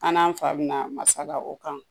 An n'an fa bɛna masala o kan